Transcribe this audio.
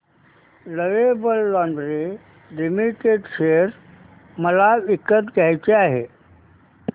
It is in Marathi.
लवेबल लॉन्जरे लिमिटेड शेअर मला विकत घ्यायचे आहेत